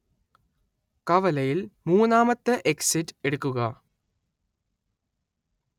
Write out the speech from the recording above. കവലയിൽ മൂന്നാമത്തെ എക്സിറ്റ് എടുക്കുക